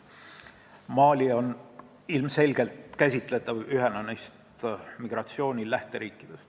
Mali on ilmselgelt käsitletav ühena neist migratsiooni lähteriikidest.